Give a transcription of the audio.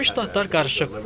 Birləşmiş Ştatlar qarışıb.